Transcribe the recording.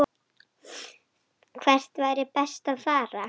Hvert væri best að fara?